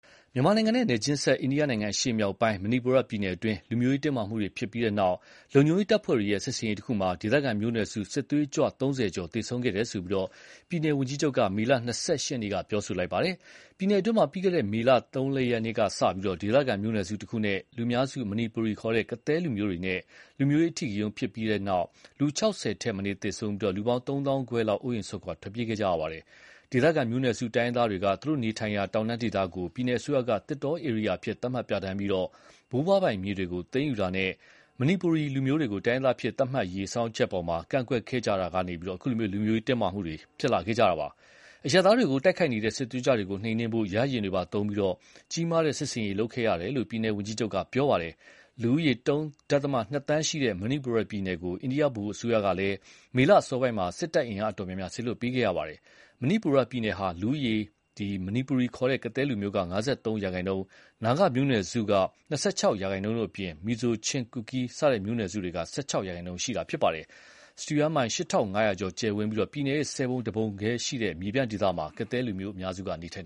မြန်မာနိုင်ငံနဲ့ နယ်ချင်းစပ် အိန္ဒိယနိုင်ငံ အရှေ့မြောက်ပိုင်း မဏိပူရပြည်နယ်တွင်း လူမျိုးရေးတင်းမာမှုတွေ ဖြစ်ပြီးတဲ့နောက် လုံခြုံရေးတပ်ဖွဲ့တွေရဲ့ စစ်ဆင်ရေးတခုမှာ ဒေသခံမျိုးနွယ်စု စစ်သွေးကြွ ၃၀ ကျော်သေဆုံးခဲ့တယ်လို့ ပြည်နယ်ဝန်ကြီးချုပ်က မေလ ၂၈ ရက်နေ့က ပြောဆိုပါတယ်။ ပြည်နယ်အတွင်းမှာ ပြီးခဲ့တဲ့မေလ၃ရက်နေ့ကစပြီး ဒေသခံမျိုးနွယ်စုတခုနဲ့ လူများစု မဏိပူရီခေါ် ကသည်းလူမျိုးတွေနဲ့ လူမျိုးရေးအဓိကရုဏ်းဖြစ်ခဲ့တာကြောင့် လူ ၆၀ ထက်မနည်းသေဆုံးပြီး၊ လူပေါင်း သုံးသောင်းခွဲလောက် အိုးအိမ်စွန့်ထွက်ပြေးခဲ့ကြရပါတယ်။ ဒေသခံမျိုးနွယ်စုတိုင်းရင်းသားတွေက သူတို့နေထိုင်ရာ တောင်တန်းဒေသကို ပြည်နယ်အစိုးရက သစ်တောဧရိယာအဖြစ် သတ်မှတ်ပြဌာန်းပြီး ဘိုးဘွားပိုင် မြေတွေကို သိမ်းယူတာနဲ့ မဏိပူရီလူမျိုးတွေကို တိုင်းရင်းသားအဖြစ် သတ်မှတ်ရေး ဆောင်ရွက်မှုတွေအပေါ် ကန့်ကွက်ခဲ့ကြရာကနေ အခုလို လူမျိုးရေးတင်းမာမှုအထိဖြစ်လာတာပါ။ အရပ်သားတွေကို တိုက်ခိုက်နေတဲ့ စစ်သွေးကြွတွေကို နှိမ်နင်းဖို့ ရဟတ်ယာဉ်တွေပါသုံးပြီး၊ ကြီးမားတဲ့ စစ်ဆင်ရေးလုပ်ခဲ့ရတယ်လို့ ပြည်နယ်ဝန်ကြီးချုပ်က ပြောပါတယ်။ လူဦးရည် ၃.၂ သန်းရှိတဲ့ မဏိပူရပြည်နယ်ကို အိန္ဒိယဗဟိုအစိုးရကလည်း မေလအစောပိုင်းမှာ စစ်တပ်အင်အားအတော်များများ စေလွှတ်ပေးခဲ့ရပါတယ်။ မဏိပူရပြည်နယ်ဟာ လူဦးရေ မဏိပူရီခေါ် ကသည်းလူမျိုးက ၅၃ရာခိုင်နှုန်း၊ နာဂမျိုးနွယ်စုက ၂၆ရာခိုင်နှုန်းတို့အပြင် မီဇိုး၊ ချင်း၊ ကူကီး စတဲ့ မျိုးနွယ်စုတွေက ၁၆ရာခိုင်နှုန်းခန့် ရှိတာဖြစ်ပါတယ်။ စတုရန်းမိုင် ၈၅၀၀ကျော် ကျယ်ဝန်းပြီး ပြည်နယ်ရဲ့ ၁၀ပုံ ၁ပုံခန့်သာရှိတဲ့ မြေပြန့်ဒေသမှာ ကသည်းလူမျိုးက အများစုနေထိုင်